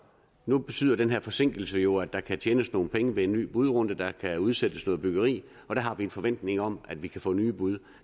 nu betyder den her forsinkelse jo at der kan tjenes nogle penge ved en ny budrunde der kan udsættes noget byggeri og der har vi en forventning om at vi kan få nye bud